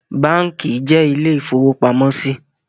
Báànkì jẹ́ ilé ìfowópamọ́sí